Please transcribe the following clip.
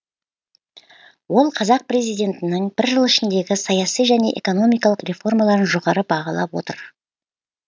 ол қазақ президентінің бір жыл ішіндегі саяси және экономикалық реформаларын жоғары бағалап отыр